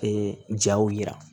Ee jaw yira